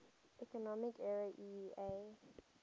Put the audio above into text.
economic area eea